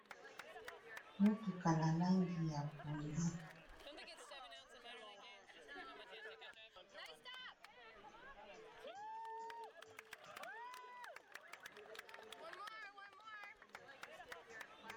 Motuka na langi ya pondu.